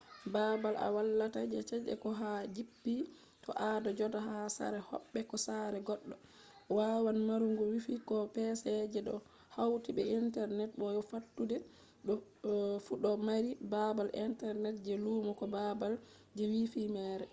babal a walata je chede ko ha a jippi to ado joda ha sare hobbe ko sare goddo wawan marugo wifi ko pc je do hauti be internet bo fattude fu do mari babal internet je lumo ko babal je wifi mere